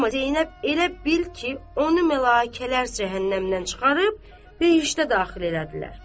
Amma Zeynəb elə bil ki, onu mələkələr cəhənnəmdən çıxarıb cəhənnəmə daxil elədilər.